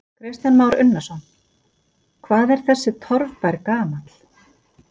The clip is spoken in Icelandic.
Kristján Már Unnarsson: Hvað er þessi torfbær gamall?